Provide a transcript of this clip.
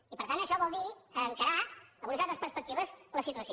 i per tant això vol dir encarar amb unes altres perspectives la situació